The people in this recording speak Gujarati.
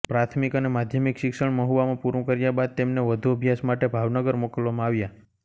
પ્રાથમિક અને માધ્યમિક શિક્ષણ મહુવામાં પૂરું કર્યા બાદ તેમને વધુ અભ્યાસ માટે ભાવનગર મોકલવામાં આવ્યા